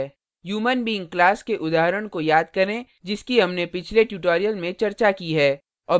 human being class के उदाहरण को याद करें जिसकी human पिछले tutorial में चर्चा की है